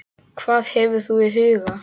Hvað hefur þú í huga?